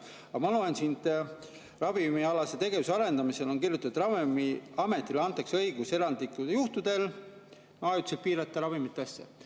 Aga ma loen siit, ravimialase tegevuse arendamise osast, kus on kirjutatud, et Ravimiametile antakse õigus erandlikel juhtudel ajutiselt piirata ravimite.